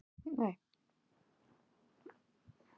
Einnig er til frosið mangó.